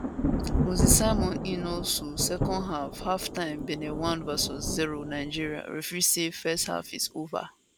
moses simon in also second half halftime benin 1 vs 0 nigeria referee say first half is ova